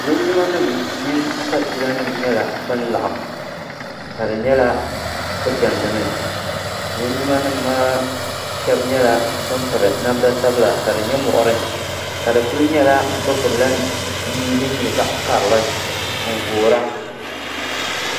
lingimanima mini sabiilanima nyɛla ban laɣim ka di nyɛla bɛ diɛmdi mi lingimanima maa shɛba nyɛla ban piri namda sabila ka di nyɛ muɣiri ka di kuli nyɛla bɛ gbubila mia din nyɛ zaɣ' karili n-voora